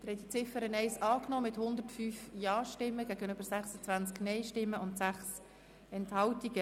Sie haben die Ziffer 1 angenommen mit 105 Ja- gegen 26 Nein-Stimmen und 6 Enthaltungen.